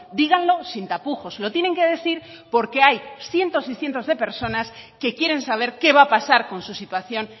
díganlo sin tapujos lo tienen que decir porque hay cientos y cientos de personas que quieren saber qué va a pasar con su situación